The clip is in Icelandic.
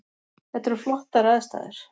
Þetta eru flottar aðstæður